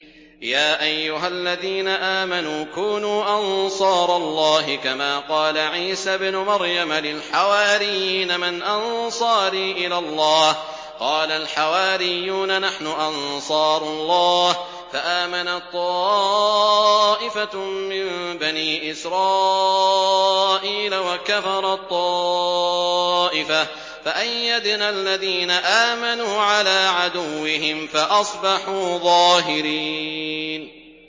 يَا أَيُّهَا الَّذِينَ آمَنُوا كُونُوا أَنصَارَ اللَّهِ كَمَا قَالَ عِيسَى ابْنُ مَرْيَمَ لِلْحَوَارِيِّينَ مَنْ أَنصَارِي إِلَى اللَّهِ ۖ قَالَ الْحَوَارِيُّونَ نَحْنُ أَنصَارُ اللَّهِ ۖ فَآمَنَت طَّائِفَةٌ مِّن بَنِي إِسْرَائِيلَ وَكَفَرَت طَّائِفَةٌ ۖ فَأَيَّدْنَا الَّذِينَ آمَنُوا عَلَىٰ عَدُوِّهِمْ فَأَصْبَحُوا ظَاهِرِينَ